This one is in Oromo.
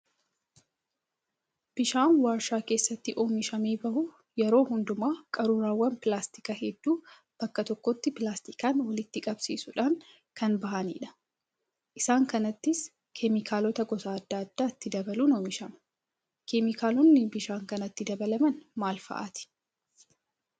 Bishaan warshaa keessatti oomishamee bahu yeroo hundumaa qaruuraawwan pilaastikaa hedduu bakka tokkotti pilaastikaan walitti qabsiisuudhaan kan bahanidha. Isaan kanattis keemikaalota gosa adda addaa itti dabaluun oomishamu. keemikaalonni bishaan kanatti dabalaman maal fa'aati?